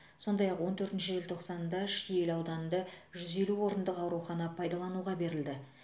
сондай ақ он төртінші желтоқсанда шиелі ауданында жүз елу орындық аурухана пайдалануға берілді